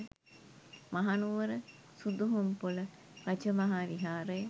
Mahanuwara Suduhumpola Rajamaha Viharaya